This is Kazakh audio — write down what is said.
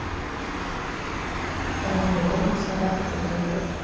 қарағайдан садақ будырып